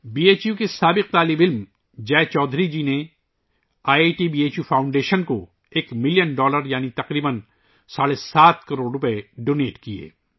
be H U کے سابق طالب علم جے چودھری جی نے I I T B H U foundation کو ایک ملین ڈالر یعنی تقریباً ساڑھے سات کروڑ کا عطیہ دیا